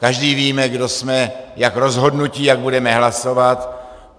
Každý víme, kdo jsme, jak rozhodnuti, jak budeme hlasovat.